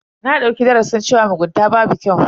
Na dauki darasin cewa mugunta babu kyau.